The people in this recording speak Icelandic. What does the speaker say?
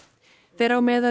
þeirra á meðal